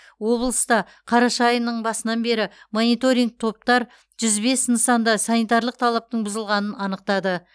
облыста қараша айының басынан бері мониторинг топтар жүз бес нысанда санитарлық талаптың бұзылғанын анықтады